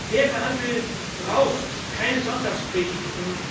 Fairer Handel braucht keine Sonntagspredigten